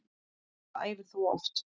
Hvað æfir þú oft?